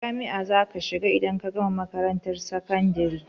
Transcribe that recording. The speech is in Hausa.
Jami'a za ka shiga idan ka gama makarantar sakandare?